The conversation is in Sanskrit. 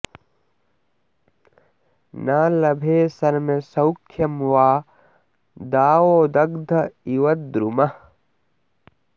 न लभे शर्म सौख्यं वा दावदग्ध इव द्रुमः